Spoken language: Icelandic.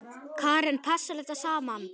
Karen: Passar þetta saman?